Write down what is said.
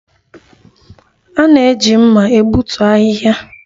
A na-eji mma egbutu ahịhịa